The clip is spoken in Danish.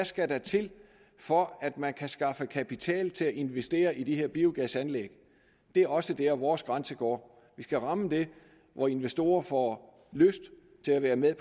skal til for at man kan skaffe kapital til at investere i de her biogasanlæg det er også dér vores grænse går vi skal ramme der hvor investorer får lyst til at være med